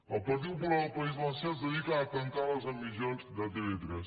el partit popular al país valencià es dedica a tancar les emissions de tv3